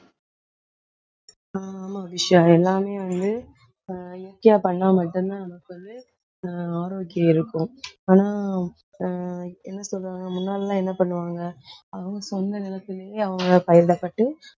ஆமா அபிஷா எல்லாமே வந்து, ஆஹ் பண்ணா மட்டும்தான் நமக்கு வந்து, ஆஹ் ஆரோக்கியம் இருக்கும். ஆனா, ஆஹ் என்ன சொல்றாங்க முன்னால எல்லாம் என்ன பண்ணுவாங்க அவங்க சொந்த நிலத்திலேயே அவங்க பயிரிடப்பட்டு